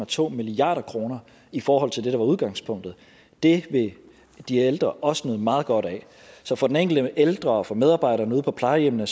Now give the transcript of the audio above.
to milliard kroner i forhold til det der var udgangspunktet det vil de ældre også nyde meget godt af så for den enkelte ældre og for medarbejderne ude på plejehjemmene